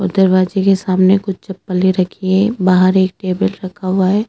दरवाजे के सामने कुछ चप्पलें रखी है बाहर एक टेबल रखा हुआ है।